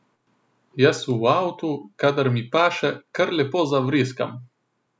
Jaz v avtu, kadar mi paše, kar lepo zavriskam.